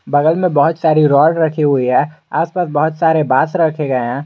बगल मे बहुत सारी रॉड रखी हुई है आसपास बहुत सारे बांस रखे गए हैं।